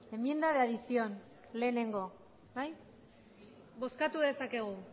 enmienda de adición lehenengo bai bozkatu dezakegu